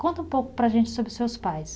Conta um pouco para a gente sobre os seus pais.